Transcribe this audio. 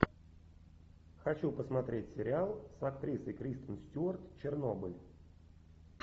хочу посмотреть сериал с актрисой кристен стюарт чернобыль